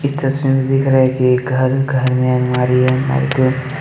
इस तस्वीर में दिख रहा है कि घर घर में अलमारी है अलमारी पे--